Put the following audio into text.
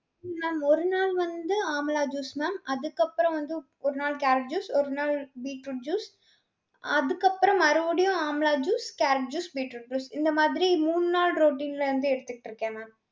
mam ஒரு நாள் வந்து amla juice mam. அதுக்கப்புறம் வந்து ஒரு நாள் carrot juice ஒரு நாள் beetroot juice அதுக்கப்புறம் மறுபடியும் amla juice, carrot juice, beetroot juice இந்த மாதிரி மூணு நாள் routine ல வந்து எடுத்திட்டிருக்கேன் mam.